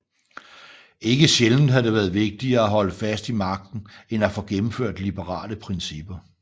Ikke sjældent havde det været vigtigere at holde fast i magten end at få gennemført liberale principper